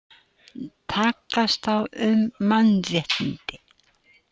Takast á um mannréttindi